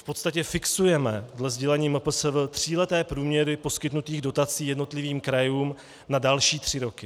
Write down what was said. V podstatě fixujeme dle sdělení MPSV tříleté průměry poskytnutých dotací jednotlivým krajům na další tři roky.